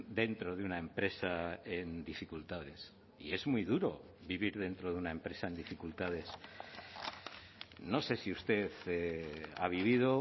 dentro de una empresa en dificultades y es muy duro vivir dentro de una empresa en dificultades no sé si usted ha vivido